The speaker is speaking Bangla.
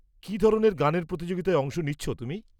-কী ধরনের গানের প্রতিযোগিতায় অংশ নিচ্ছ তুমি?